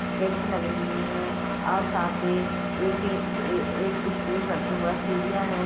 Tent लगी हुई है और सामने एक एक स्टेज बना हुआ है सीढ़िया है।